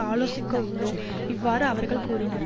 ஆலோசிக்க உள்ளோம் இவ்வாறு அவர்கள் கூறினர்